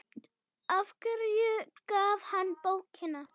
Af hverju gaf hann bókina?